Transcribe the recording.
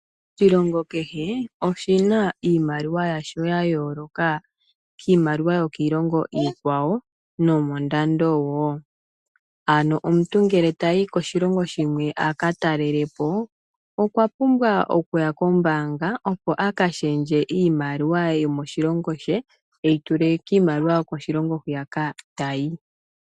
Oshilongo kehe oshina iimaliwa yasho ya yooloka kiimaliwa yiilongo iikwawo nomondando wo. Ano omuntu ngele tayi koshilongo a ka talele po okwa pumbwa okuya kombaanga a ka shendje iimaliwa yokoshilongo she e yi tule kiimaliwa yokoshilongo hoka ta yi.